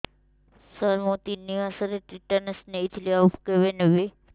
ସାର ମୁ ତିନି ମାସରେ ଟିଟାନସ ନେଇଥିଲି ଆଉ କେବେ ନେବି